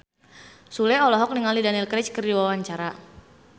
Sule olohok ningali Daniel Craig keur diwawancara